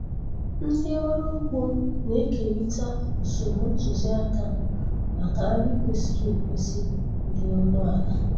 Ndị ọrụ ugbo na-ekerịta usoro ntụzịaka maka nri kwesịrị ekwesị dị ọnụ ala.